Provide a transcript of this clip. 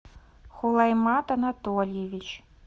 хулаймат анатольевич